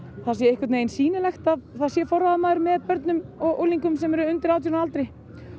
það sé sýnilegt að það sé forráðamaður með börnum og unglingum undir átján ára aldri